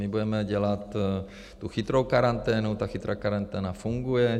My budeme dělat tu chytrou karanténu, ta chytrá karanténa funguje.